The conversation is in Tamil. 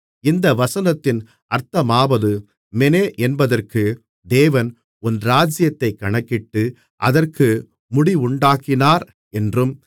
இந்த வசனத்தின் அர்த்தமாவது மெனே என்பதற்கு தேவன் உன் ராஜ்ஜியத்தைக் கணக்கிட்டு அதற்கு முடிவுண்டாக்கினார் என்றும்